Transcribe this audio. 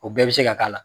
O bɛɛ bɛ se ka k'a la